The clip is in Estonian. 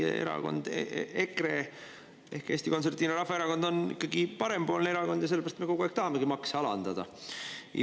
Teie erakond EKRE ehk Eesti Konservatiivne Rahvaerakond on ikkagi parempoolne erakond ja sellepärast me kogu aeg tahamegi makse alandada.